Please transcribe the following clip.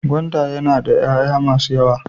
Gwanda yana da yaya masu yawa.